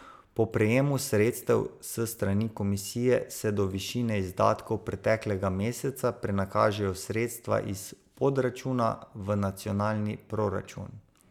Po prejemu sredstev s strani Komisije se do višine izdatkov preteklega meseca prenakažejo sredstva iz podračuna v nacionalni proračun.